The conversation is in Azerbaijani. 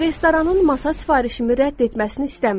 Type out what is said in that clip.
Restoranın masa sifarişimi rədd etməsini istəmirəm.